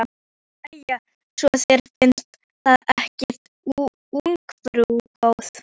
Jæja, svo þér finnst það ekki ungfrú góð.